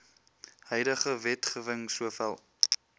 huidige wetgewing sowel